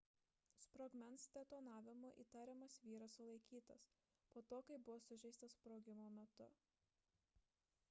sprogmens detonavimu įtariamas vyras sulaikytas po to kai buvo sužeistas sprogimo metu